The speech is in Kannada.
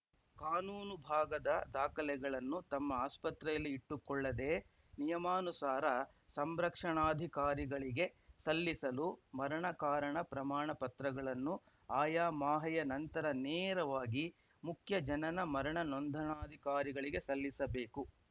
ಕಾನೂನು ಭಾಗದ ದಾಖಲೆಗಳನ್ನು ತಮ್ಮ ಆಸ್ಪತ್ರೆಯಲ್ಲಿ ಇಟ್ಟುಕೊಳ್ಳದೇ ನಿಯಮಾನುಸಾರ ಸಂರಕ್ಷಣಾಧಿಕಾರಿಗಳಿಗೆ ಸಲ್ಲಿಸಲು ಮರಣ ಕಾರಣ ಪ್ರಮಾಣ ಪತ್ರಗಳನ್ನು ಆಯಾ ಮಾಹೆಯ ನಂತರ ನೇರವಾಗಿ ಮುಖ್ಯ ಜನನಮರಣ ನೋಂದಣಾಧಿಕಾರಿಗಳಿಗೆ ಸಲ್ಲಿಸಬೇಕು